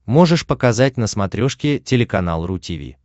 можешь показать на смотрешке телеканал ру ти ви